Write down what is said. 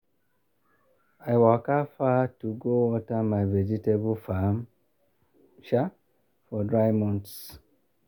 i waka far to go water my vegetable farm um for dry months.